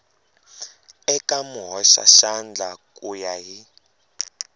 eka muhoxaxandla ku ya hi